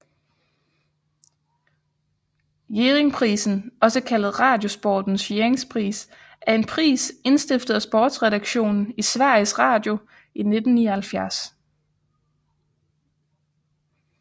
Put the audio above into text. Jerringprisen også kaldet Radiosportens Jerringpris er en pris indstiftet af sportsredaktionen i Sveriges Radio i 1979